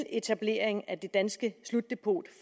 etableringen af det danske slutdepot